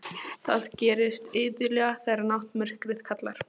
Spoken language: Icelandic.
Það gerist iðulega þegar náttmyrkrið kallar.